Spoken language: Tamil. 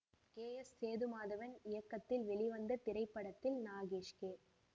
கே எஸ் சேதுமாதவன் இயக்கத்தில் வெளிவந்த இத்திரைப்படத்தில் நாகேஷ் கே